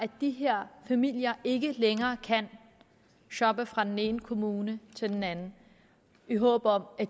at de her familier ikke længere kan shoppe fra den ene kommune til den anden i håb om at